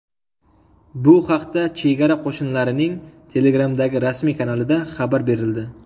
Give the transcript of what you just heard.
Bu haqda Chegara qo‘shinlarining Telegram’dagi rasmiy kanalida xabar berildi .